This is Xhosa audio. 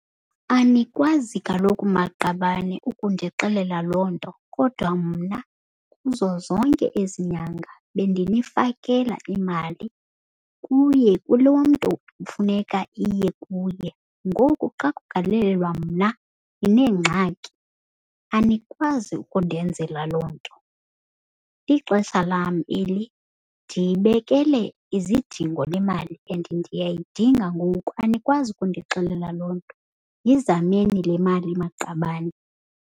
Anikwazi kaloku maqabane ukundixelela loo nto kodwa mna kuzo zonke ezi nyanga bendinifakela imali kuye kulo mntu kufuneka iye kuye, ngoku xa kugalelelwa mna nineengxaki. Anikwazi ukundenzela loo nto. Lixesha lam eli, ndiyibekele izidingo le mali and ndiyayidinga ngoku. Anikwazi ukundixelela loo nto. Yizameni le mali maqabane.